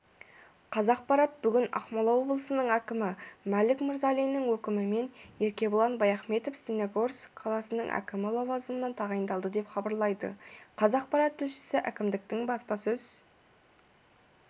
қазақпарат бүгін ақмола облысының әкімі мәлік мырзалиннің өкімімен еркебұлан баяхметов степногорск қаласының әкімі лауазымына тағайындалды деп хабарлайды қазақпарат тілшісі әкімдіктің баспасөз